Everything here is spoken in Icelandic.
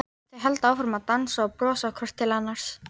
Þau halda áfram að dansa og brosa hvort til annars.